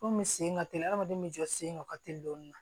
Komi sen ka teli hadamaden jɔ sen ka teli dɔɔnin